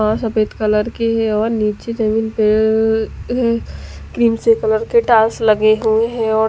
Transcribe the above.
ओ सफेद कलर की है और निचे जमीन पे अ क्रीम से कलर के टास लगे हुए है और--